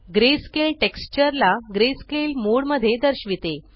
greyscale texture ला greyscale mode मध्ये दर्शविते